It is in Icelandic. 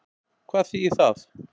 Hvað þýðir það?